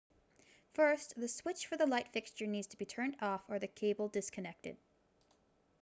first the switch for the light fixture needs to be turned off or the cable disconnected